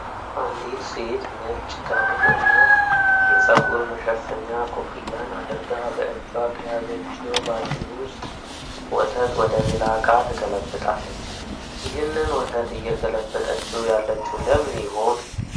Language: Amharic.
አንዲት ሴት ነጭ ጋውን እና የጸጉር መሸፈኚያ ኮፍያን አድርጋ በእጇ ከያዘችው ባልዲ ዉስጥ ወተት ወደ ሌላ እቃ ትገለብጣለች። ይህንን ወተት እየገለበጠችው ያለችው ለምን ይሆን?